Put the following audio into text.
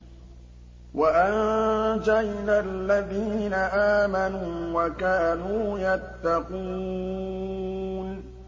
وَأَنجَيْنَا الَّذِينَ آمَنُوا وَكَانُوا يَتَّقُونَ